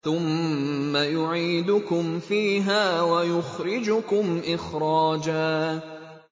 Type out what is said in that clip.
ثُمَّ يُعِيدُكُمْ فِيهَا وَيُخْرِجُكُمْ إِخْرَاجًا